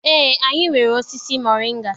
Eé, anyị nwere osisi moringa.